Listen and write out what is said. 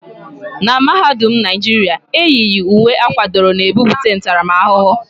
N'mahadum Naijiria, eyighi uwe akwadoro n'ebute ntaramahụhụ